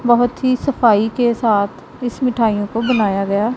बहोत ही सफाई के साथ इस मिठाइयों को बनाया गया--